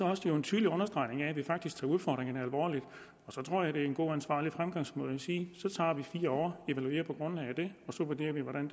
også en tydelig understregning af at vi faktisk tager udfordringerne alvorligt så tror jeg at det er en god og ansvarlig fremgangsmåde at sige så tager vi fire år evaluerer på grundlag af det og så vurderer vi hvordan